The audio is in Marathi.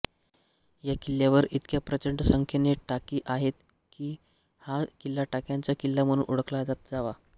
या किल्ल्यावर इतक्या प्रचंड संख्येने टाकी आहेत की हा किल्ला टाक्यांचा किल्ला म्हणून ओळखला जावा